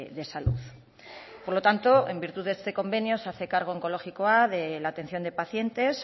de salud por lo tanto en virtud de este convenio se hace cargo onkologikoa de la atención de pacientes